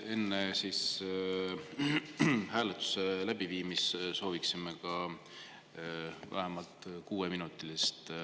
Enne hääletuse läbiviimist sooviksime vähemalt kuueminutilist vaheaega.